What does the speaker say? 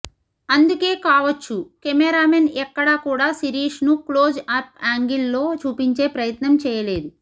అందుకే కావొచ్చు కెమెరామెన్ ఎక్కడ కూడా శిరీష్ ను క్లోజ్ అప్ యాంగిల్ లో చూపించే ప్రయత్నం చేయలేదు